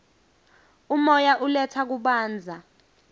umoya uletsa kubanza